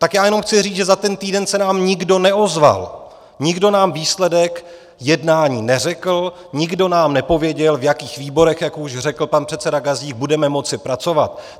Tak já jenom chci říct, že za ten týden se nám nikdo neozval, nikdo nám výsledek jednání neřekl, nikdo nám nepověděl, v jakých výborech, jak už řekl pan předseda Gazdík, budeme moci pracovat.